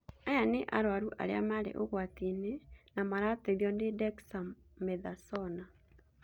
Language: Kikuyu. Aya nĩ arwaru arĩa marĩ ũgwati-inĩ na marateithio nĩ Dexamethasona